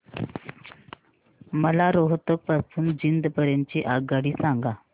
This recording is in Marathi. मला रोहतक पासून तर जिंद पर्यंत ची आगगाडी सांगा